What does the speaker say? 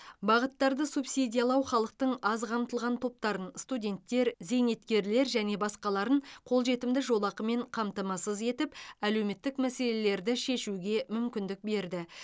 бағыттарды субсидиялау халықтың аз қамтылған топтарын студенттер зейнеткерлер және басқа қолжетімді жолақымен қамтамасыз етіп әлеуметтік мәселелерді шешуге мүмкіндік берді